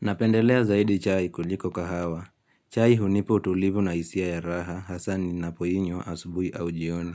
Napendelea zaidi chai kuliko kahawa. Chai hunipa utulivu na hisia ya raha hasa ninapoinywa asubui au jioni.